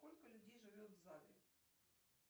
сколько людей живет в загреб